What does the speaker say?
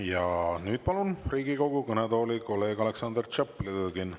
Ja nüüd palun Riigikogu kõnetooli kolleeg Aleksandr Tšaplõgini.